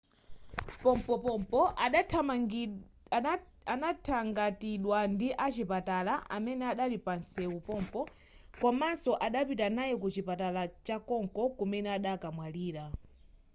pompopompo adathangatidwa ndi achipatala amene adali panseu pompo komanso adapita naye ku chipatala chakonko kumene adakamwalira